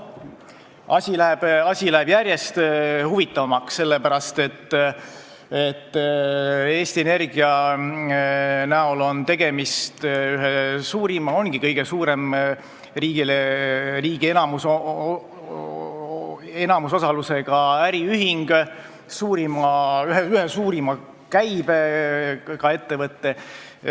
Asi läheb järjest huvitavamaks, sest Eesti Energia on kõige suurema riigi enamusosalusega äriühing ja üks suurima käibega ettevõtteid.